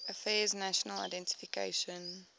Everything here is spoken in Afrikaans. affairs national identification